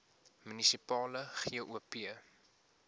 munisipale gop